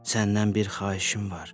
Səndən bir xahişim var.